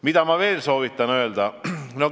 Mida ma veel soovitan öelda?